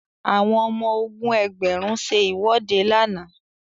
àwọn ọmọ ogun ẹgbẹrun se iwọde làna